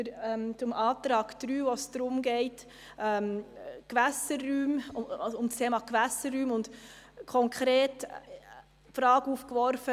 Dort geht es um das Thema Gewässerräume, und es wird die Frage nach den Ausnahmen aufgeworfen.